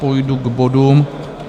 Půjdu k bodům.